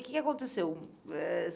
O que que aconteceu? Eh